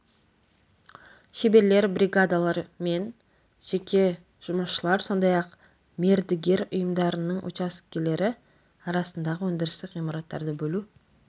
шеберлер бригадалар мен жеке жұмысшылар сондай-ақ мердігер ұйымдарының учаскелері арасындағы өндірістік ғимараттарды бөлу